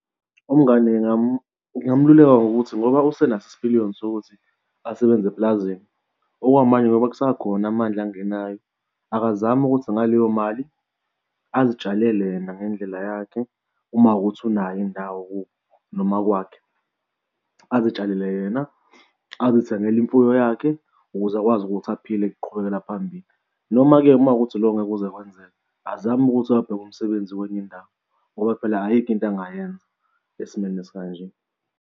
Umngani ngingamluleka ngokuthi ngoba usenaso isipiliyoni sokuthi asebenze eplazini okwamanje ngoba kusakhona amandla angenayo, akazame ukuthi ngaleyo mali azitshalele yena ngendlela yakhe uma kuwukuthi unayo indawo kubo noma kwakhe azitshalele yena azithengele imfuyo yakhe ukuze akwazi ukuthi aphile ukuqhubekela phambili. Noma-ke uma kuwukuthi loko angeke kuze kwenzeke azame ukuthi ayobheka umsebenzi kwenye indawo ngoba phela ayikho into angayenza esimweni esikanje.